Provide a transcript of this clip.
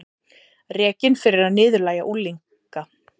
Rekinn fyrir að niðurlægja unglinga